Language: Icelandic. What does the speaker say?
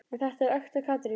En þetta er ekta Katrín.